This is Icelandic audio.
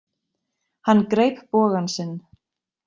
Hann greip bogann sinn.